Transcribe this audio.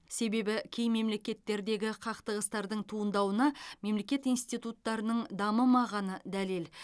себебі кей мемлекеттердегі қақтығыстардың туындауына мемлекет институттарының дамымағаны дәлел